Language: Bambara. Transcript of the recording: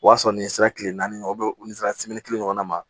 O y'a sɔrɔ ni sera kile naani u sera kelen ɲɔgɔnna ma